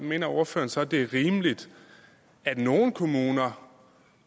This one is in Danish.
mener ordføreren så det er rimeligt at nogle kommuner